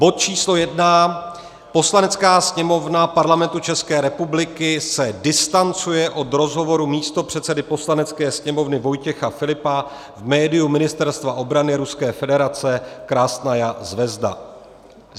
Bod číslo I. Poslanecká sněmovna Parlamentu České republiky se distancuje od rozhovoru místopředsedy Poslanecké sněmovny Vojtěcha Filipa v médiu ministerstva obrany Ruské federace Krasnaja zvezda.